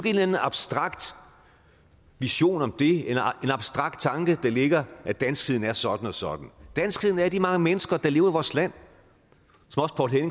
eller anden abstrakt vision om det en abstrakt tanke der ligger at danskheden er sådan og sådan danskheden er de mange mennesker der lever i vores land